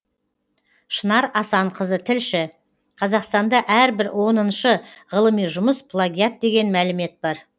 шынар асанқызы тілші қазақстанда әрбір оныншы ғылыми жұмыс плагиат деген мәлімет бар